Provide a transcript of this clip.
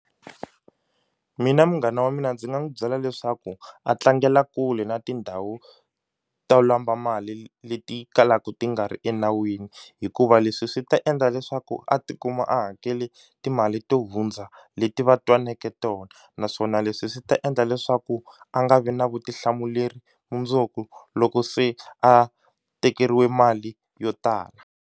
Mina munghana wa mina ndzi nga n'wi byela leswaku a tlangela kule na tindhawu to lomba mali leti kalaku ti nga ri enawini hikuva leswi swi ta endla leswaku a ti kuma a hakele timali to hundza leti va twanake tona naswona leswi swi ta endla leswaku a nga vi na vutihlamuleri mundzuku loko se a tekeriwe mali yo tala.